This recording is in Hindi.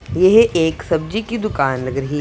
यह एक सब्जी की दुकान लग रही --